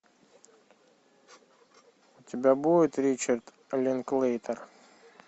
у тебя будет ричард линклейтер